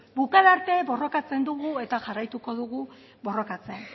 bukaera arte borrokatzen dugu eta jarraituko dugu borrokatzen